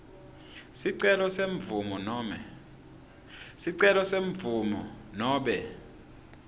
sicelo semvumo nobe